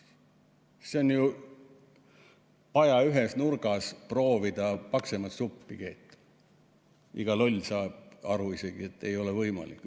Proovida paja ühes nurgas paksemat suppi keeta – isegi iga loll saab aru, et see ei ole võimalik.